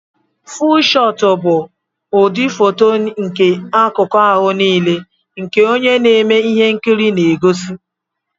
fúú shootu bụ ụdị fóto nke akụku ahụ nile nke onye na-eme ihe nkiri na egosi